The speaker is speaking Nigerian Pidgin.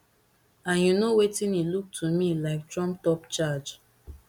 and you know wetin e look to me like trumpedup charge